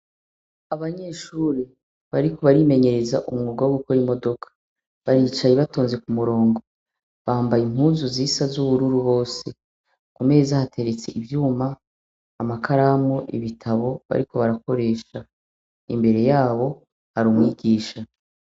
Abanyeshure bariko barimenyereza umwuga wo gukora imodoka baricaye batonze ku murongo. Bambaye impuzu zisa z'ubururu bose. Ku meza hateretse ivyuma, amakaramu, ibitabo bariko barakoresha. Imbere yabo hari umwigisha.